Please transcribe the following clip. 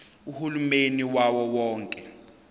uhulumeni wawo wonke